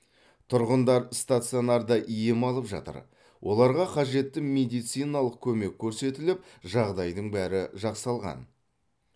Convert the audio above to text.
тұрғындар стационарда ем алып жатыр оларға қажетті медициналық көмек көрсетіліп жағдайдың бәрі жасалған